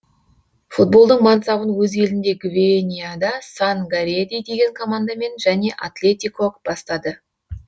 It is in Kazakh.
футболдың мансабын өз елінде гвинеяда сан гареди деген командамен және атлетико бастады